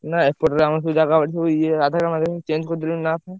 ନା ଏପଟରେ ଆମର ସବୁ ଜାଗାବାଡି ଇଏ change କରିଦେଲୁଣି ନାଁ